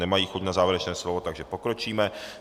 Nemají chuť na závěrečné slovo, takže pokročíme.